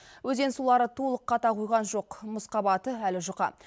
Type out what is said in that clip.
өзен сулары толық қата қойған жоқ мұз қабаты әлі жұқа